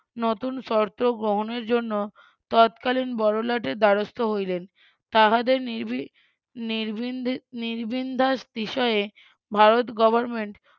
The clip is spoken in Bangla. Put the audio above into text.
নতুন শর্ত গ্রহণের জন্য তৎকালীন বড়লাটের দ্বারস্থ হইলেন তাহাদের ~ নিরভিন্দাস বিষয়ে ভারত গভর্নমেন্ট